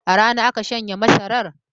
A rana aka shanya masarar?